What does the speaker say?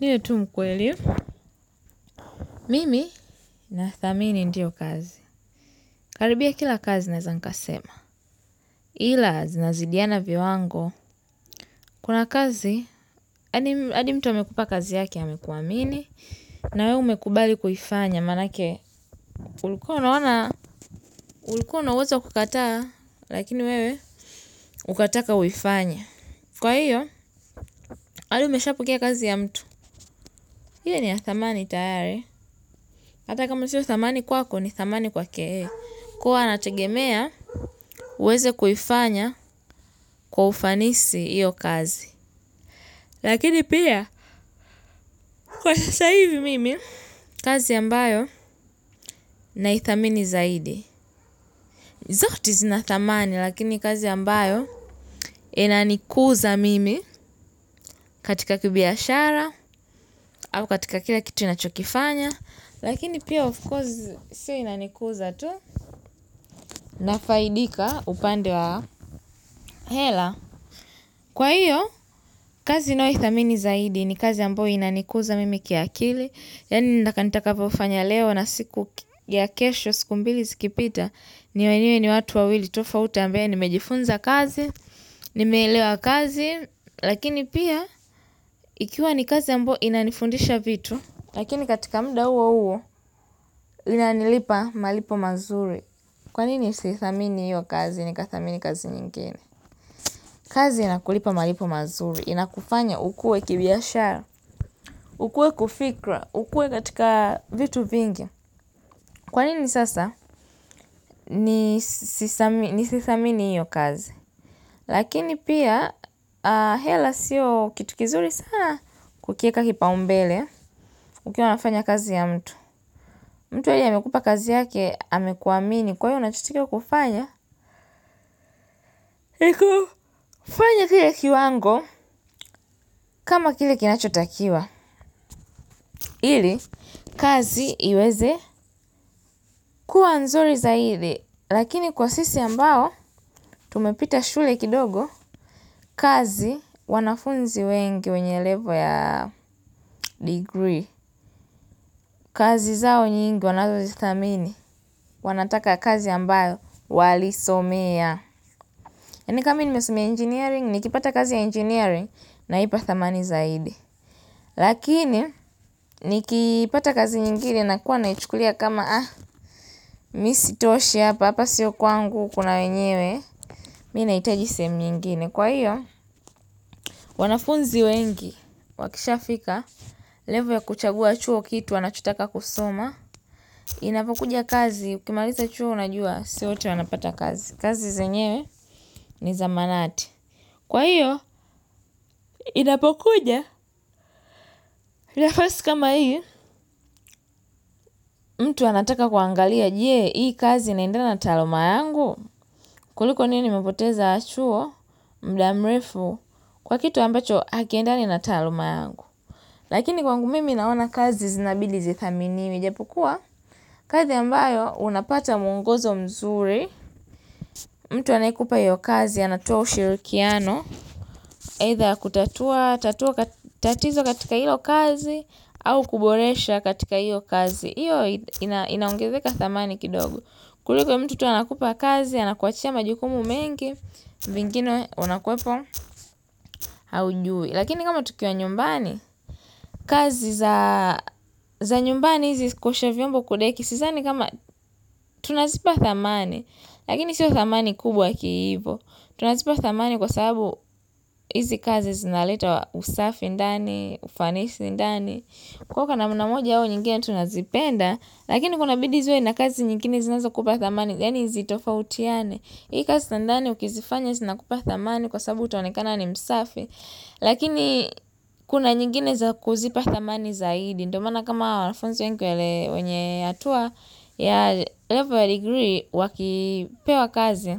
Ni hiyo tu mkwe mimi nathamini ndio kazi. Karibia kila kazi naweza nikasema. Ila zinazidiana viwango. Kuna kazi, hadi mtu amekupa kazi yake amekuamini. Na wewe umekubali kuifanya. Manake, ulikuwa unaona ulikuwa na uwezo wa kukataa lakini wewe ukataka uifanye. Kwa hiyo, hadi umeshapokea kazi ya mtu. Ile ni ya thamani tayari. Hata kama sio thamani kwako ni thamani kwake. Kuwa anategemea, uweze kuifanya kwa ufanisi hiyo kazi. Lakini pia, kwa sasa hivi mimi, kazi ambayo na ithamini zaidi. Zote zinathamani, lakini kazi ambayo inanikuza mimi katika kibiashara, au katika kila kitu ninachokifanya. Lakini pia, of course, siyo inanikuza tu. Nafaidika upande wa hela. Kwa hiyo, kazi ninayoi thamini zaidi ni kazi ambayo inanikuza mimi kiakili. Yaani nitakavyo fanya leo na siku ya kesho siku mbili zikipita. Niwaelewe ni watu wawili tofauti ambaye nimejifunza kazi, nimeelewa kazi. Lakini pia, ikiwa ni kazi ambayo inanifundisha vitu. Lakini katika muda huo huo inanilipa malipo mazuri. Kwanini si thamini yu kazi ni kathamini kazi nyingine? Kazi inakulipa malipo mazuri, inakufanya ukuwe kibiashara, ukuwe kufikra, ukue katika vitu vingi. Kwanini sasa? Ni sithamini hiyo kazi. Lakini pia, hela siyo kitu kizuri sana kukiweka kipa umbele, ukiwa unafanya kazi ya mtu. Mtu mwenye amekupa kazi yake amekuamini kwa hiyo unatakikana kufanya fanya kile kiwango kama kile kinachotakiwa ili kazi iweze kuwa nzuri zaidi lakini kwa sisi ambao tumepita shule kidogo kazi wanafunzi wengi wenye level ya degree kazi zao nyingi wanazozi thamini wanataka kazi ambao wali somea. Ni kama mimi nimesomea engineering, ni kipata kazi ya engineering na ipa thamani zaidi. Lakini, ni kipata kazi nyingine na kuwa naichukulia kama, ah, mmi isi toshi hapa, hapa siyo kwangu, kuna wenyewe, mimi ina hiitaji sehemu nyingine. Kwa hiyo, wanafunzi wengi, wakishafika, level ya kuchagua hicho kitu, wanachotaka kusoma, inapokuja kazi, ukimaliza chuo unajua, siyo wote wanapata kazi. Kazi zenyewe ni za manati. Kwa hiyo, inapokuja, nafasi kama hii, mtu anataka kuangalia, je, hii kazi inaendana na taluma yangu, kuliko niwe nimepoteza chuo, muda mrefu, kwa kitu ambacho haki endani na taaluma yangu. Lakini kwangu mimi naona kazi zinabidi zithaminiwe ijapukuwa kazi ambayo unapata mwongozo mzuri. Mtu anayekupa hiyo kazi anatoa ushirikiano aidha ya kutatua tatizo katika hilo kazi au kuboresha katika hiyo kazi hiyo inaongezeka thamani kidogo kuliko tu mtu anakupa kazi anakuachia majukumu mengi. Vingine unakuwepo haujui. Lakini kama tukiwa nyumbani kazi za nyumbani hizi kuosha vyombo kudeki. Sidhani kama tunazipa thamani. Lakini siyo thamani kubwa kiivo. Tunazipa thamani kwa sababu hizi kazi zinaleta usafi ndani, ufanisi ndani. Kwa hiyo kwa namna moja au nyingine tunazipenda. Lakini kuna bidi ziwe na kazi nyingine zinazo kupa thamani. Yaani hizi tofautiane. Hii kazi za ndani ukizifanya zinakupa thamani kwa sababu utaonekana ni msafi. Lakini kuna nyingine za kuzipa thamani zaidi. Ndio maana kama wanafunzi wengi wenye hatua ya level degree wakipewa kazi